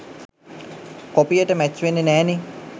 කොපියට match වෙන්නෙ නෑනේ